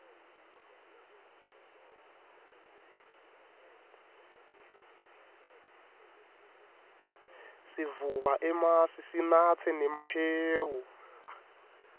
sivuba emasi sinatse nemahewu